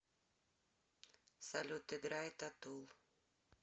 салют играй татул